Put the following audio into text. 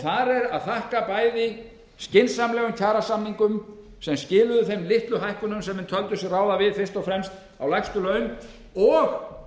þar er að þakka bæði skynsamlegum kjarasamningum sem skiluðu þeim litlu hækkunum sem menn töldu sig ráða við fyrst og fremst á lægstu laun og